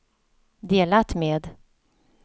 delat med